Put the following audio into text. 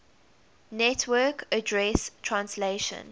network address translation